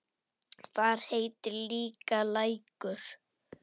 Þar heitir líka Lækur.